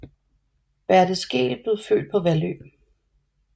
Berte Skeel blev født på Vallø